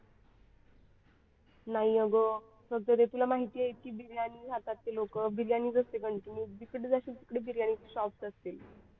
नाही अगं तुला माहिती आहे की बिर्याणी खातात ते लोक बिर्याणी असते continue जिकडे जाशील तिकडे बिर्याणी असतील.